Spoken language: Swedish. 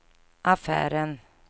affären